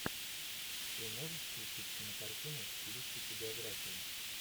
ты можешь включить кинокартину в стилистике биография